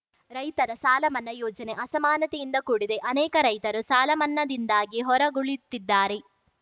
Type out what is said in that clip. ರೈತರ ಸಾಲಮನ್ನಾ ಯೋಜನೆ ಅಸಮಾನತೆಯಿಂದ ಕೂಡಿದೆ ಅನೇಕ ರೈತರು ಸಾಲಮನ್ನಾದಿಂದಾಗಿ ಹೊರ ಗುಳಿಯುತ್ತಿದ್ದಾರೆ